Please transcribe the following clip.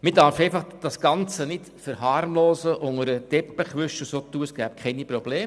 Man darf das Ganze einfach nicht verharmlosen, unter den Teppich kehren und so tun, als gäbe es keine Probleme.